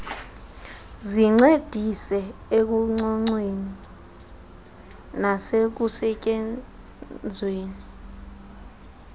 zincedise ekucocweni nasekusetyenzweni